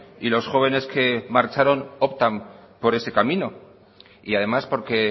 y los jóvenes que marcharon optan por ese camino y además porque